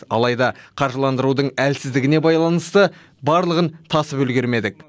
алайда қаржыландырудың әлсіздігіне байланысты барлығын тасып үлгермедік